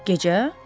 Gecə?